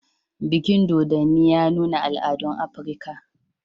Bikin Masquerade ya nuna al'adun Afirka